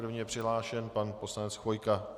První je přihlášen pan poslanec Chvojka.